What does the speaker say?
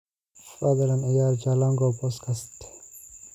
fadlan ciyaar jalango podcast